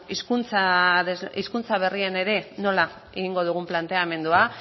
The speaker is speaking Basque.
hizkuntza berrien ere nola egingo dugun planteamendua